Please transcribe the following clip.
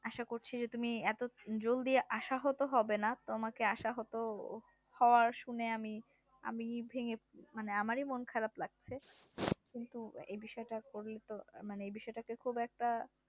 আশা করছি যে তুমি এত জলদি আশাহত না তোমাকে আশাহত আবার শুনে আমি আমি ভেঙে মানে আমারই মন খারাপ লাগছে কিন্তু এই বিষয়টা ধরেই তো মানে এই বিষয়টাতে খুব একটা